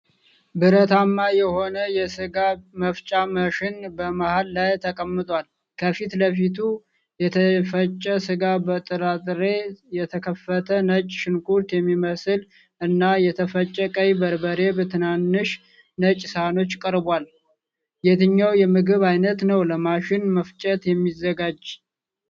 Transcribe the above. ብረትማ የሆነ ሥጋ መፍጫ ማሽን በመሃል ላይ ተቀምጧል። ከፊት ለፊቱ የተፈጨ ሥጋ፣ በጥራጥሬ የተከተፈ ነጭ ሽንኩርት የሚመስል፣ እና የተፈጨ ቀይ በርበሬ በትናንሽ ነጭ ሳህኖች ቀርቧል። የትኛው የምግብ አይነት ነው ለማሽን መፍጨት የሚዘጋጀው?